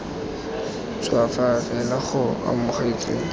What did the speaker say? ntšhwa fa fela go amogetswe